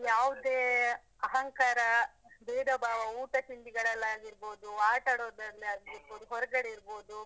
ಯಾವ್ದೇ ಅಹಂಕಾರ, ಭೇದ ಭಾವ, ಊಟ ತಿಂಡಿಗಳಲ್ಲಿ ಆಗಿರ್ಬೋದು, ಆಟಾಡೋದ್ರಲ್ಲಿ ಆಗಿರ್ಬೋದು ಹೊರಗಡೆ ಇರ್ಬೋದು.